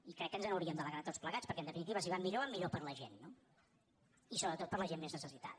i crec que ens n’hauríem d’alegrar tots plegats perquè en definitiva si van millor van millor per a la gent no i sobretot per a la gent més necessitada